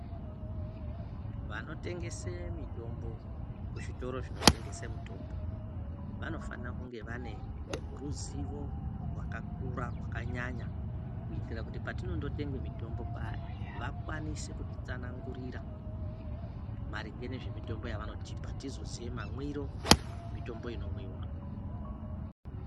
Wanotengese mitombo kuzvitoro zvinotengese mitombo, wanofana kunge wane ruziwo rwakakura, rwakanyanya kuitira kuti patinoondotenga mitombo paye, wakwanise kutitsanangurira maringe nezvemitombo yawanotipa tizoziya mamwiro nemitombo inomwiwa.